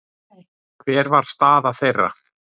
Hver var staða þeirra?